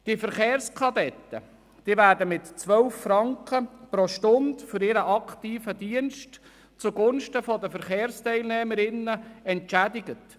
Die Verkehrskadetten werden mit 12 Franken pro Stunde für ihren aktiven Dienst zugunsten der Verkehrsteilnehmerinnen und Verkehrsteilnehmer entschädigt.